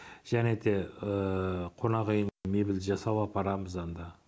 және де қонақүйіне мебель жасау апарамыз анда